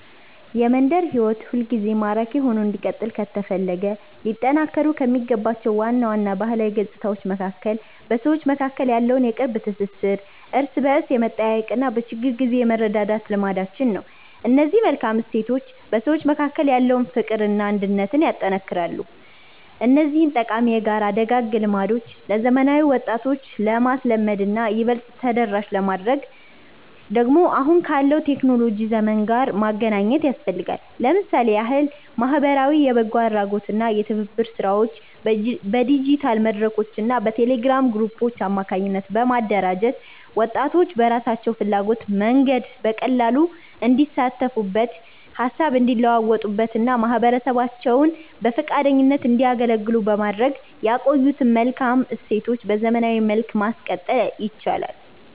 የመንደር ሕይወት ሁልጊዜም ማራኪ ሆኖ እንዲቀጥል ከተፈለገ ሊጠናከሩ ከሚገባቸው ዋና ዋና ባህላዊ ገጽታዎች መካከል በሰዎች መካከል ያለው የቅርብ ትሥሥር፣ እርስ በርስ የመጠያየቅና በችግር ጊዜ የመረዳዳት ልማዳችን ነው። እነዚህ መልካም እሴቶች በሰዎች መካከል ያለውን ፍቅርና አንድነት ያጠነክራሉ። እነዚህን ጠቃሚ የጋራ ደጋግ ልማዶች ለዘመናዊ ወጣቶች ለማልመድና ይበልጥ ተደራሽ ለማድረግ ደግሞ አሁን ካለው የቴክኖሎጂ ዘመን ጋር ማገናኘት ያስፈልጋል። ለምሳሌ ያህል ማኅበራዊ የበጎ አድራጎትና የትብብር ሥራዎችን በዲጂታል መድረኮችና በቴሌግራም ግሩፖች አማካኝነት በማደራጀት፣ ወጣቶች በራሳቸው ፍላጎትና መንገድ በቀላሉ እንዲሳተፉበት፣ ሃሳብ እንዲለዋወጡበትና ማኅበረሰባቸውን በፈቃደኝነት እንዲያገለግሉ በማድረግ የቆዩትን መልካም እሴቶች በዘመናዊ መልክ ማቀጠል ይቻላል።